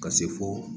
Ka se fo